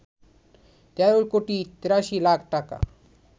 ১৩ কোটি ৮৩ লাখ টাকা